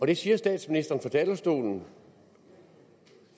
det siger statsministeren fra talerstolen